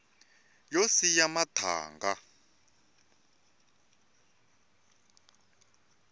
yo siya mathanga